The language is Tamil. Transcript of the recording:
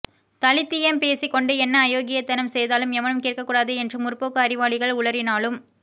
தலித்தியம் பேசிக்கொண்டு என்ன அயோக்கியத்தனம் செய்தாலும் எவனும் கேட்கக் கூடாது என்று முற்போக்கு அறிவாளிகள் உளறினாலும்